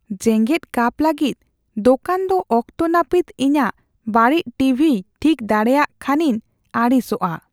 ᱡᱮᱜᱮᱫ ᱠᱟᱯ ᱞᱟᱹᱜᱤᱫ ᱫᱚᱠᱟᱱ ᱫᱚ ᱚᱠᱛᱚ ᱱᱟᱹᱯᱤᱛ ᱤᱧᱟᱹᱜ ᱵᱟᱹᱲᱤᱡ ᱴᱤᱵᱷᱤᱭ ᱴᱷᱤᱠ ᱫᱟᱲᱮᱭᱟᱜ ᱠᱷᱟᱱᱤᱧ ᱟᱹᱲᱤᱥᱚᱜᱼᱟ ᱾